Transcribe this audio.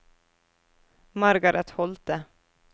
Margaret Holthe